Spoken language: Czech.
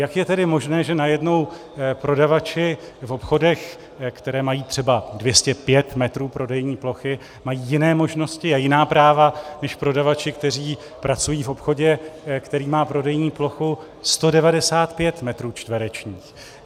Jak je tedy možné, že najednou prodavači v obchodech, které mají třeba 205 metrů prodejní plochy, mají jiné možnosti a jiná práva než prodavači, kteří pracují v obchodě, který má prodejní plochu 195 metrů čtverečních.